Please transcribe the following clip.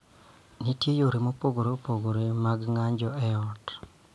Nitie yore mopogore opogore mag ng�anjo e ot .